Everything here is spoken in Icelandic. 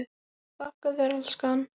Þakka þér elskan.